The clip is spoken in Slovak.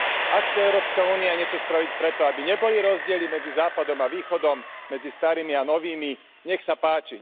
Ak chce Európska únia niečo spraviť preto, aby neboli rozdiely medzi západom a východom, medzi starými a novými, nech sa páči.